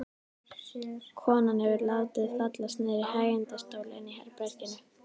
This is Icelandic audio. Konan hefur látið fallast niður í hægindastól inni í herberginu.